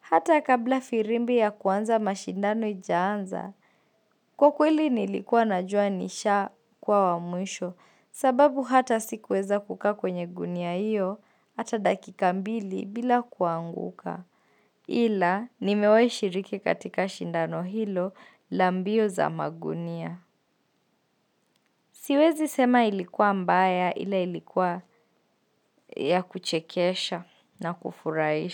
Hata kabla firimbi ya kuanza mashindano haijaanza. Kwa kweli nilikuwa najua nishakuwa wa mwisho sababu hata sikuweza kukaa kwenye gunia hiyo hata dakika mbili bila kuanguka. Ila nimewahi shiriki katika shindano hilo la mbio za magunia. Siwezi sema ilikuwa mbaya ila ilikuwa ya kuchekesha na kufurahisha.